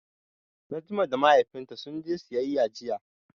Najma da Mahaifinta sun je siyayya jiya.